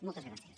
moltes gràcies